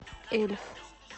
эльф